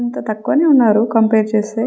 ఇంకా తకువ నే ఉనారు కంపేర్ చేస్తే.